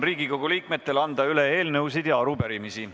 Riigikogu liikmetel on võimalus anda üle eelnõusid ja arupärimisi.